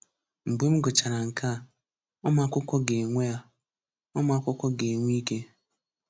Mgbe m gụchara nke a, ụmụakwụkwọ ga-enwe a, ụmụakwụkwọ ga-enwe ike: